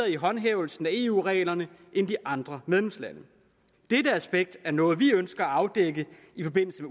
i håndhævelsen af eu reglerne end de andre medlemslande dette aspekt er noget vi ønsker at afdække i forbindelse